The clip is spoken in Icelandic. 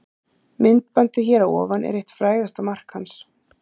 Myndbandið hér að ofan er eitt frægasta mark hans.